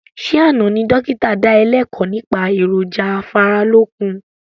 Ṣé àna ni dókítà da ẹ lẹ́kọ̀ nípa èròjà afáralókun?